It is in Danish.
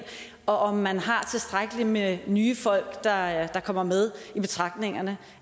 og om man har tilstrækkeligt med nye folk der kommer med i betragtning